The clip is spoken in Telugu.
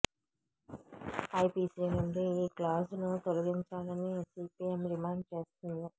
ఐపిసి నుండి ఈ క్లాజ్ను తొలగించాలని సిపిఎం డిమాండ్ చేస్తోంది